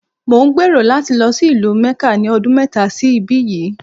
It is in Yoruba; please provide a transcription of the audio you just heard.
Mò ń gbèrò láti lọ sí ìlú Mẹ́kà ní ọdún mẹ́ta sí ibí yìí.